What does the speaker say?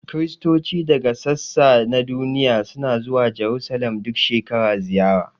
Kiristoci daga sassa na duniya suna zuwa Jarusalim duk shekara ziyara